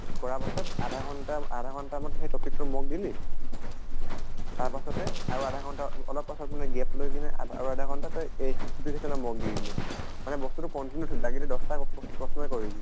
কৰা পাছত আধা ঘন্টা আধা ঘন্টা মান সেই topic টো mock দিলি তাৰ পাছতে আৰু আধা ঘন্টা অলপ পাছত মানে gap লৈ কিনে আৰু আধা ঘন্টা তই এই simplification ৰ mock দি দিলি মানে। মানে বস্তুটো continue থ লাগিলে দশ্টা প্ৰশ প্ৰশ্নই কৰিবি।